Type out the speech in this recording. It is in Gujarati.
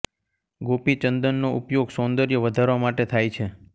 ગોપી ચંદનનો ઉપયોગ સૌંદર્ય વધારવા માટે થાય છે